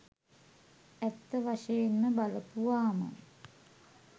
ඇත්ත වශයෙන්ම බලපුවාම